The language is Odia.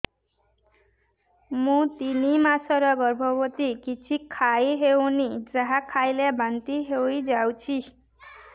ମୁଁ ତିନି ମାସର ଗର୍ଭବତୀ କିଛି ଖାଇ ହେଉନି ଯାହା ଖାଇଲେ ବାନ୍ତି ହୋଇଯାଉଛି